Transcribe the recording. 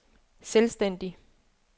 selvstændig